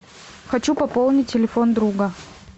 хочу пополнить телефон друга